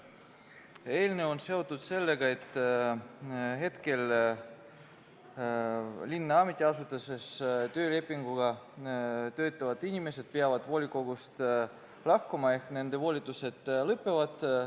Eelnõu on seotud sellega, et linna ametiasutuses töölepinguga töötavad inimesed peavad volikogust lahkuma ehk nende volitused lõpevad.